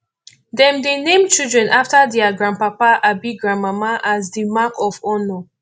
dem dey name children after dier grandpapa abi grandmama as di mark of honour